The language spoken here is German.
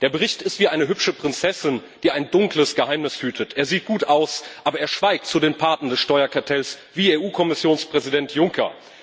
Der Bericht ist wie eine hübsche Prinzessin, die ein dunkles Geheimnis hütet Er sieht gut aus, aber schweigt zu den Paten des Steuerkartells wie EU Kommissionspräsident Juncker.